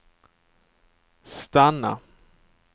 stanna